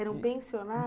Era um pensiona?